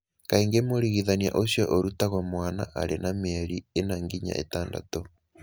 Kaingĩ mũrigithania ũcio arutagwo mwana arĩ na mĩeri ĩna nginya ĩtandatũ.